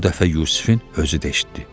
Bu dəfə Yusifin özü də eşitdi.